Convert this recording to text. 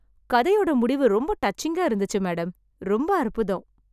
கதையோட முடிவு ரொம்ப டச்சிங்கா இருந்துச்சு மேடம்.. ரொம்ப அற்புதம்.